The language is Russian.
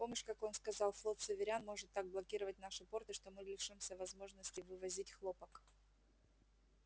помнишь как он сказал флот северян может так блокировать наши порты что мы лишимся возможности вывозить хлопок